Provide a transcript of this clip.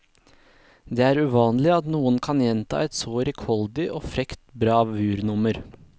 Det er uvanlig at noen kan gjenta et så rikholdig og frekt bravurnummer.